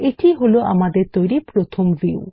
এটিই হল আমাদের তৈরী প্রথম ভিউ